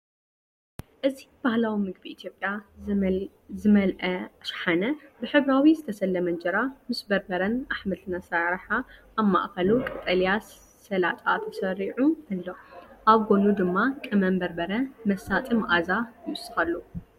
እዚ ባህላዊ ምግቢ ኢትዮጵያ ዝመልአ ሻሓነ፡ ብሕብራዊ ዝተሰለመ እንጀራ ምስ በርበረን ኣሕምልትን ኣሰራርሓ። ኣብ ማእከሉ ቀጠልያ ሰላጣ ተሰሪዑ ኣሎ፣ ኣብ ጎድኑ ድማ ቀመም በርበረ መሳጢ መኣዛ ይውስኸሉ።